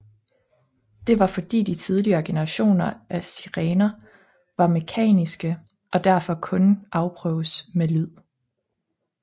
Det var fordi de tidligere generationer af sirener var mekaniske og derfor kun kunne afprøves med lyd